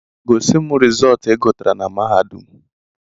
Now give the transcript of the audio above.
Gosim rizọọt igutara na mahadum!